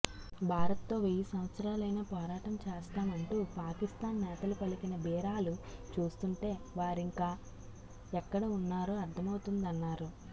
భారత్తో వెయ్యి సంవత్సరాలైనా పోరాటం చేస్తామంటూ పాకిస్తాన్ నేతలు పలికిన బీరాలు చూస్తుంటే వారింకా ఎక్కడ ఉన్నారో అర్థమవుతోందన్నారు